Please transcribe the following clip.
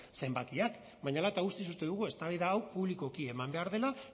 zenbakiak baina hala eta guztiz uste dugu eztabaida hau publikoki eman behar dela